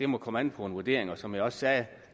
må komme an på en vurdering og som jeg også sagde